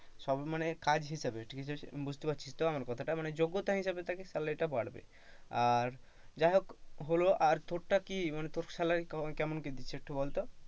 সবই মানে কাজ হিসেবে ঠিক আছে বুঝতে পারছিস তো আমার কথাটা মানে যোগ্যতা থেকে হিসাবে তাকে salary বাড়বে আর যাই হোক হলো আর তোরটা কি তোর স্যালারি কেমন কি দিচ্ছে? একটু বলতো?